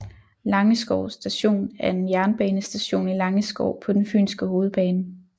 Langeskov Station er en jernbanestation i Langeskov på den fynske hovedbane